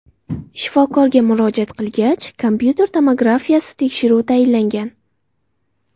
Shifokorga murojaat qilgach, kompyuter tomografiyasi tekshiruvi tayinlangan.